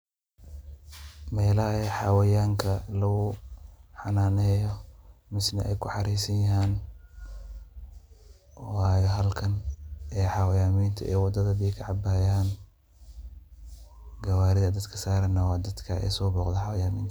Melaha ey xawayanka lagu xananeyo misne ay kuxareysan yahaan waye halkan ee xawanyaminta ee wadada biiyo kacabayaan gawarida dadka saran naa dadka so boqde xawayaninta.